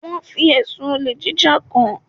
Wọn fi ẹ̀sùn olè jíjà kàn án.